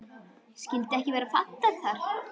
Skyldi ekki vera fallegt þar?